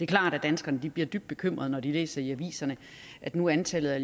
klart at danskerne bliver dybt bekymret når de læser i aviserne at nu er antallet af